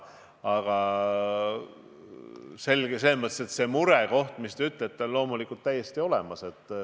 Aga selles mõttes see murekoht, millest te rääkisite, on loomulikult täiesti olemas.